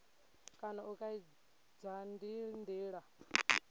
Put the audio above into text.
kana u kaidza ndi ndila